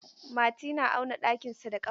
Mati na auna ɗakinsa da kafa.